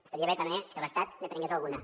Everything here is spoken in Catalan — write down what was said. estaria bé també que l’estat ne prengués alguna